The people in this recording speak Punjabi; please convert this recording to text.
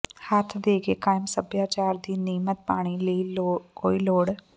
ਹੱਥ ਦੇ ਕੇ ਕਾਇਮ ਸਭਿਆਚਾਰ ਦੀ ਨਿਯਮਤ ਪਾਣੀ ਲਈ ਕੋਈ ਲੋੜ